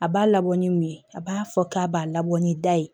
A b'a labɔ ni mun ye a b'a fɔ k'a b'a labɔ ni da ye